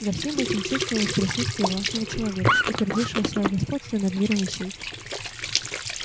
за всем этим чувствовалось присутствие властного человека утвердившего своё господство над миром вещей